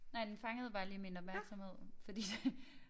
Nej den fangede bare lige min opmærksomhed fordi det